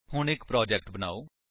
ਹੁਣ ਇੱਕ ਪ੍ਰੋਜੇਕਟ ਬਨਾਓ